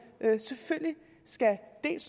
selvfølgelig skal